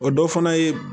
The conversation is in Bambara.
O dɔ fana ye